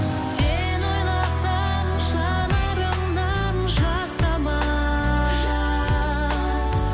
сені ойласам жанарымнан жас тамар